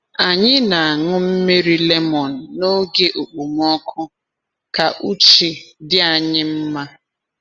Anyị na-aṅụ mmiri lemon n’oge okpomọkụ ka uche dị anyị mma.